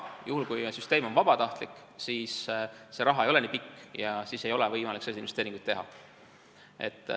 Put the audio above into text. Juhul, kui süsteem on vabatahtlik, siis see raha ei ole nii pikk ja siis ei ole võimalik selliseid investeeringuid teha.